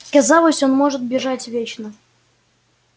казалось он может бежать вечно